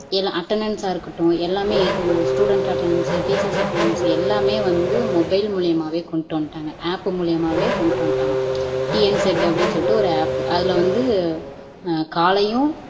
எல்லாம் அட்டனென்ஸ்-ஆ, இருக்கட்டும் எல்லாமே ஸ்டூடன்ஸ் அட்டனென்ஸ் டீச்சர்ஸ் அட்டனென்ஸ் எல்லாமே வந்து மொபைல் மூலமாவே கொண்டுட்டு வந்துட்டாங்க ஆப் மூலமாவே கொண்டுட்டு வந்துட்டாங்க TNSED அப்படின்னு சொல்லிட்டு ஒரு ஆப் அதுல வந்து காலையும்